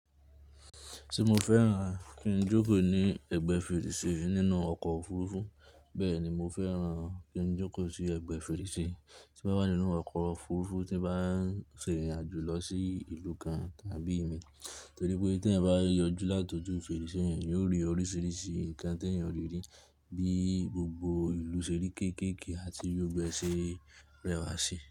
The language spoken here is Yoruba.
Ti mo fẹ́ran, kí n jókòó ní ẹ̀gbẹ́ fèrèsé nínú ọkọ̀ òfurufú. Bẹ́ẹ̀ ni mo fẹ́ran kí n jókòó sí ẹ̀gbẹ́ fèrèsé tí ó bá wà nínú ọkọ̀ òfurufú tí bá ń sìrìn àjò lọ sí ìlú kan tàbí èème. Torí pé tí ẹ bá yọjú láti ojú fèrèsé yẹn, yóò rí oríṣiríṣi nǹkan tí èèyàn le rí bíi gbogbo ìlú ṣe rí kéékèèké àti bí ọgbẹ́ ṣe rẹwà sí.